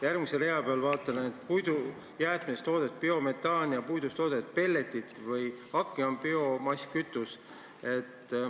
Järgmise rea peal, vaatan, et puidujäätmetest toodetud biometaan ja puidust toodetud pelletid ja hake on biomasskütus.